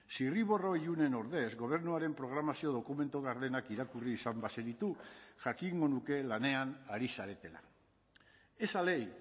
zirriborro ilunen ordez gobernuaren programazio dokumentu gardenak irakurri izan bazenitu jakingo nuke lanean ari zaretela esa ley